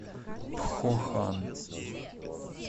пхохан